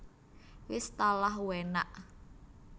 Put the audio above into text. Wis talah uenaaakkk